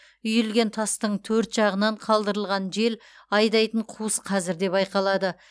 үйілген тастың төрт жағынан қалдырылған жел айдайтын қуыс қазір де байқалады